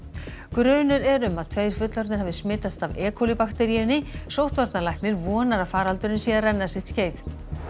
grunur er um að tveir fullorðnir hafi smitast af e bakteríunni sóttvarnalæknir vonar að faraldurinn sé að renna sitt skeið